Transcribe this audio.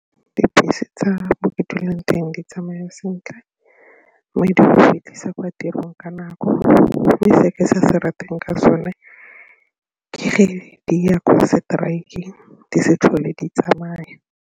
Dibese tsa mo ke dulang teng di tsamaya sentle mme di go fetlhisa kwa tirong ka nako mme se ke sa se rateng ka sone ke ge di ya kwa strike-eng di se tlhole di tsamaya.